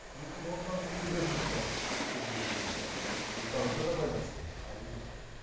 мүмкін ортаңызды өзгерту шығар өзгерту керек шығар орта ортаңызға да байланысты ғой әрине